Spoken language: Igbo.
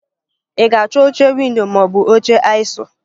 Ị ga-achọ oche ̄windo ma ọ bụ oche aisle?